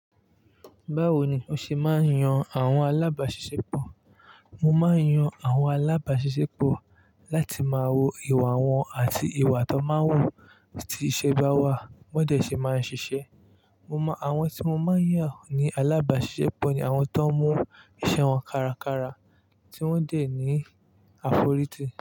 Báwo ni o ṣe máa ń yan àwọn alábàáṣiṣẹ́pọ̀? Mo máa ń yan àwọn alábàáṣiṣẹ́pọ̀ láti máa wo ìwà wọn àti ìwà tó máa ń wù tí iṣẹ́ bá wà, wọ́n dẹ̀ ṣe máa ń ṣiṣẹ́. Mo mọ àwọn tí mo máa ń yàn ní alábàáṣiṣẹ́pọ̀, ni àwọn tó mú iṣẹ́ wọn kárakára tí wọ́n dè ní àforítì.